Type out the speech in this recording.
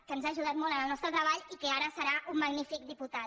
que ens ha aju·dat molt en el nostre treball i que ara serà un magnífic diputat